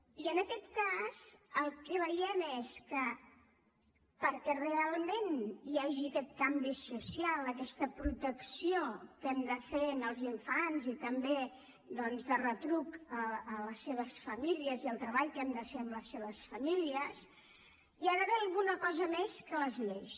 i en aquest cas el que veiem és que perquè realment hi hagi aquest canvi social aquesta protecció que hem de fer als infants i també doncs de retruc a les seves famílies i el treball que hem de fer amb les seves famílies hi ha d’haver alguna cosa més que les lleis